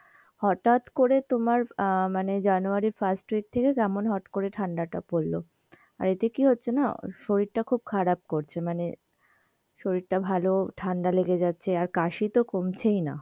হঠাৎ করে তোমার আহ মানে জানুয়ারীর first week থেকে কেমন হট করে ঠান্ডা টা পড়লো আর এতে কি হচ্ছে না, শরীর টা খুব খারাপ করছে মানে, শরীর টা ভালো ঠান্ডা লেগে যাচ্ছে আর কাশি তো কমছেই না.